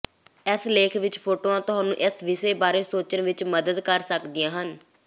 ਇਸ ਲੇਖ ਵਿਚ ਫੋਟੋਆਂ ਤੁਹਾਨੂੰ ਇਸ ਵਿਸ਼ੇ ਬਾਰੇ ਸੋਚਣ ਵਿਚ ਮਦਦ ਕਰ ਸਕਦੀਆਂ ਹਨ